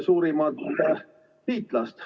... suurimat liitlast.